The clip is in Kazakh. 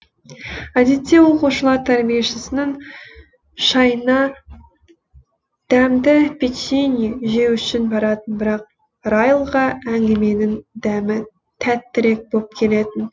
әдетте оқушылар тәрбиешісінің шайына дәмді печенье жеу үшін баратын бірақ райлға әңгіменің дәмі тәттірек боп келетін